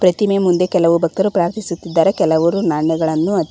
ಪ್ರತಿಮೆ ಮುಂದೆ ಕೆಲವು ಭಕ್ತರು ಪ್ರಾರ್ಥಿಸುತ್ತಿದ್ದಾರೆ ಕೆಲವರು ನಾಣ್ಯಗಳನ್ನು--